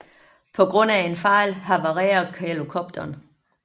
På grund af en fejl havarerer helikopteren